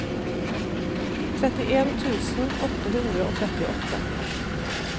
trettien tusen åtte hundre og trettiåtte